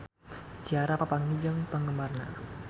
Ciara papanggih jeung penggemarna